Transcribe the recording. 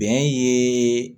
Bɛn yeee